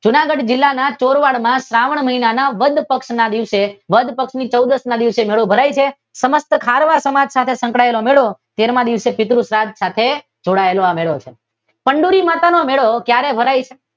જુનાગઢ જિલ્લાના ચોરવાડ માં શ્રાવણ મહિના વદ પક્ષ માં વદ પક્ષની ચૌદશ ના દિવસે મેળો ભરાય છે સમગ્ર ખારવા સમાજ સાથે સંકળાયેલો છે તેરમાં દિવસે પિતૃ શ્રાદ સાથે જોડાયેલ છે